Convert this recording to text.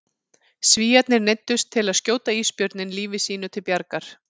Svíarnir neyddust til að skjóta ísbjörninn lífi sínu til bjargar.